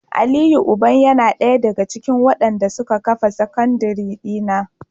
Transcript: Aliyu uban yana daya daga cikin wadanda suka kafa sakandire dina